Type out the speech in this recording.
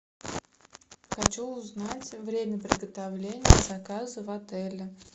хочу узнать время приготовления заказа в отеле